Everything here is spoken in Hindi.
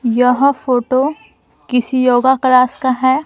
यह फोटो किसी योगा क्लास का है।